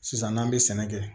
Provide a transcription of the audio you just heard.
Sisan n'an bɛ sɛnɛ kɛ